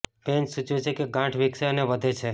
pain સૂચવે છે કે ગાંઠ વિકસે અને વધે છે